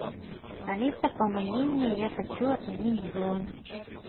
алиса помоги мне я хочу отменить бронь